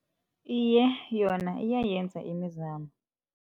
Iye, yona iyayenza imizamo.